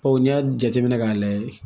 n'i y'a jateminɛ k'a lajɛ